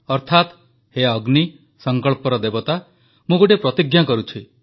ଅର୍ଥାତ୍ ହେ ଅଗ୍ନି ସଂକଳ୍ପର ଦେବତା ମୁଁ ଗୋଟିଏ ପ୍ରତିଜ୍ଞା କରୁଛି